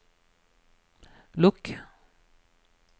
lukk